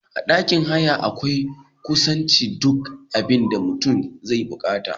A ɗakin haya akwai kusan duk abinda mutum zai bikata